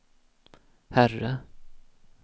herre